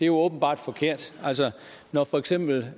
jo åbenbart forkert når for eksempel